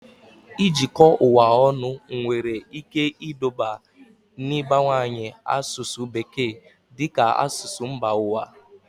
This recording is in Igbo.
Ijikọ ụwa ọnụ nwere ike iduba n'ịbawanye asụsụ Bekee dị ka asụsụ mba ụwa